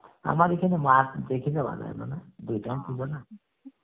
আমার ঐখানে দুই time পুজো না